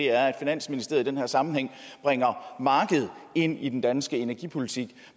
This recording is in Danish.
er at finansministeriet i den her sammenhæng bringer markedet ind i den danske energipolitik